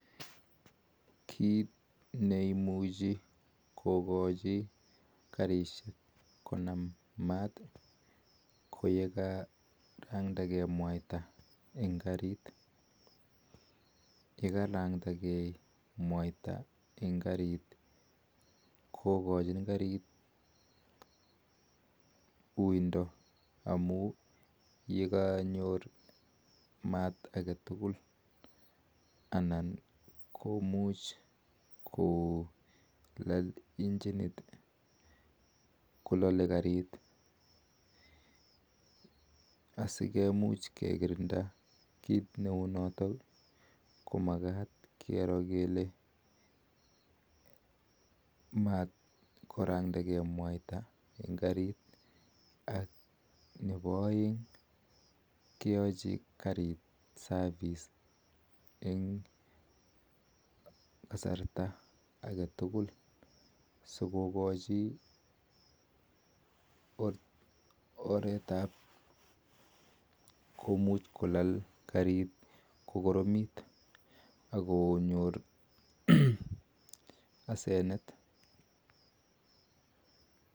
Kiit neimuchi kokachi karisheek ko nam maat ko ya karandagee mwaita eng karit kokachin karit uinda anan komuch kolal injin ak sikumuch kekirinda korayatok keachin karit service eng kasarta age tugul ak ko nyoor asenet